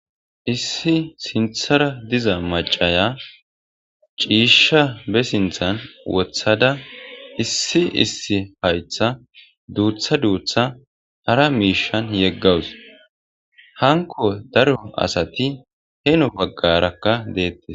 issi sinthara diza macaya ciisha be sinthan wothada issi issi haytha duutha duutha hara miishan yeggawus hanko daro asati heno baggarakka deettes